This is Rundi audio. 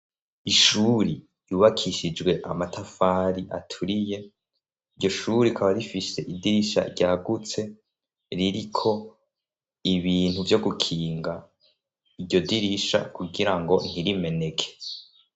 Ishuri yubakishijwe amatafari aturiye iryo shuri kaba rifishe idirisha ryagutse ririko ibintu vyo gukinga iryo dirisha kugira ngo ntirimeneke.